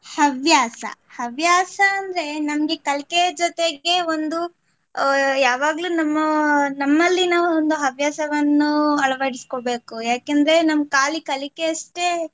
ಹವ್ಯಾಸ, ಹವ್ಯಾಸ ಅಂದ್ರೆ ನಮ್ಗೆ ಕಲ್ಕೆಯ ಜೊತೆಗೆ ಒಂದು ಅಹ್ ಯಾವಾಗಲು ನಮ್ಮ ನಮ್ಮಲ್ಲಿ ನಾವು ಒಂದು ಹವ್ಯಾಸವನ್ನು ಅಳವಡಿಸಿಕೊಬೇಕು ಯಾಕೆಂದ್ರೆ ನಮ್ಗೆ ಕಾಲಿ ಕಲಿಕೆ ಅಷ್ಟೆ